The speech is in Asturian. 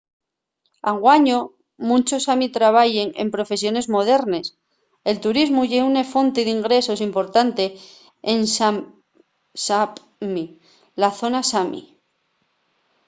anguaño munchos sami trabayen en profesiones modernes. el turismu ye una fonte d’ingresos importante en sápmi la zona sami